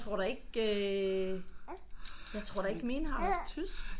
Men jeg tror da ikke øh jeg tror da ikke mine har haft tysk